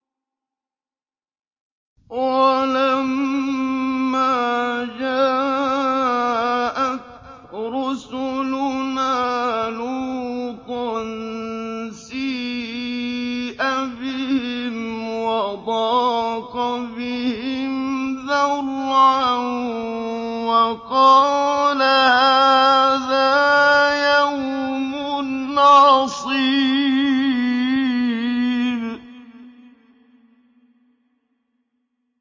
وَلَمَّا جَاءَتْ رُسُلُنَا لُوطًا سِيءَ بِهِمْ وَضَاقَ بِهِمْ ذَرْعًا وَقَالَ هَٰذَا يَوْمٌ عَصِيبٌ